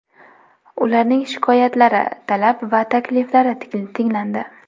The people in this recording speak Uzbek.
Ularning shikoyatlari, talab va takliflari tinglandi.